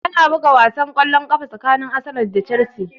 Ana buga wasan kwallon ƙafa tsakanin Arsenal da Chelsea